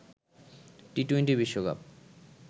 T twenty বিশ্বকাপ